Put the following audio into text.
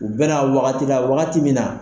U bɛna wagati la wagati min na